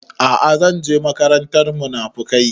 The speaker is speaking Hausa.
A'a zan je makarantar munafukai